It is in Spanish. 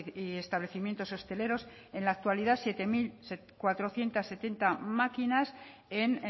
y establecimientos hosteleros en la actualidad siete mil cuatrocientos setenta máquinas en